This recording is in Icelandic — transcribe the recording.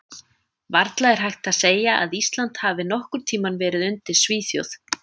Varla er hægt að segja að Ísland hafi nokkurn tímann verið undir Svíþjóð.